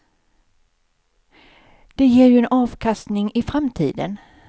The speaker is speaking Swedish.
De ger ju en avkastning i framtiden.